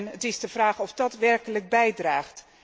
Het is de vraag of dat werkelijk bijdraagt.